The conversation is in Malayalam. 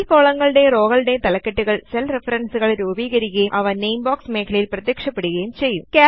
ഈ കോളങ്ങലുടെയും റോകളുടെയും തലകെട്ടുകൾ സെൽ റെഫറൻസുകൾ രൂപീകരിക്കുകയും അവ നാമെ ബോക്സ് മേഖലയിൽ പ്രത്യക്ഷപ്പെടുകയും ചെയ്യും